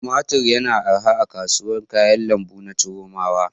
Tumatir yana arha a kasuwar kayan lambu na Chiromawa.